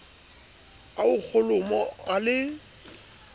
a ho kholomo a le